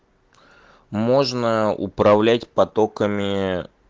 можно управлять потокамии